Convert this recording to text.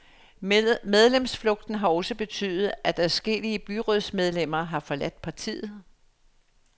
Medlemsflugten har også betydet, at adskillige byrådsmedlemmer har forladt partiet.